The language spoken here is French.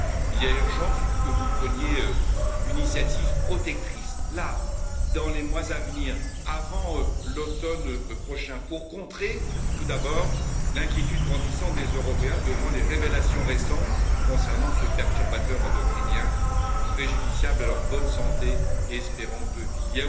Il y a urgence que vous preniez une initiative protectrice dans les mois à venir, avant l'automne prochain, pour contrer tout d'abord l'inquiétude grandissante des Européens devant les révélations récentes concernant ce perturbateur endocrinien préjudiciable à leur bonne santé et à leur espérance de vie.